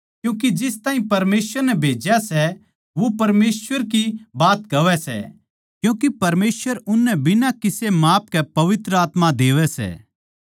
क्यूँके जिस ताहीं परमेसवर नै भेज्या सै वो परमेसवर की बात कहवै सै क्यूँके परमेसवर उननै बिना किसे माप के पवित्र आत्मा देवै सै